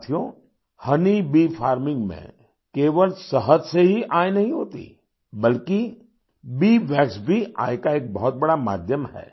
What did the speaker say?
साथियोहोनी bee farming में केवल शहद से ही आय नहीं होती बल्कि बीवैक्स भी आय का एक बहुत बड़ा माध्यम है